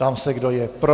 Ptám se, kdo je pro.